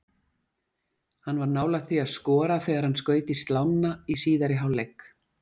Hann var nálægt því að skora þegar hann skaut í slánna í síðari hálfleik.